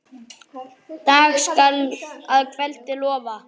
Dag skal að kveldi lofa.